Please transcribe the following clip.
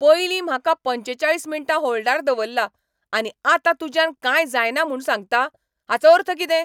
पयलीं म्हाका पंचेचाळीस मिण्टां होल्डार दवल्ला, आनी आतां तुज्यान कांय जायना म्हूण सांगता, हाचो अर्थ कितें?